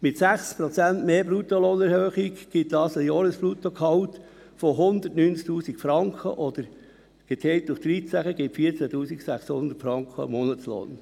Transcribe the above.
Mit einer Erhöhung von 6 Prozent des Bruttolohns beträgt das Jahresbruttolohngehalt 190 000 Franken oder – geteilt durch 13 – 14 600 Franken pro Monat.